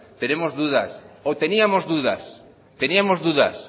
tenemos dudas o teníamos dudas teníamos dudas